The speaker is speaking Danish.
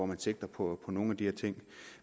den sigter på nogle af de her ting